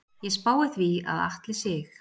Ég spái því að Atli Sig.